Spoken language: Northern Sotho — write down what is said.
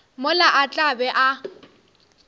mola a tla be a